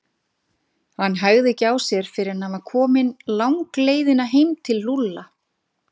Hann hægði ekki á sér fyrr en hann var kominn langleiðina heim til Lúlla.